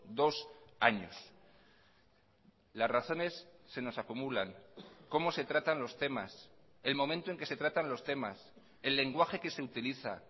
dos años las razones se nos acumulan cómo se tratan los temas el momento en que se tratan los temas el lenguaje que se utiliza